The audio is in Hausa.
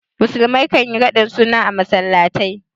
Musulmai kan yi raɗin suna a masallatai.